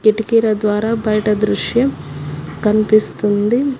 కిటికీల ద్వారా బయట దృశ్యం కనిపిస్తుంది.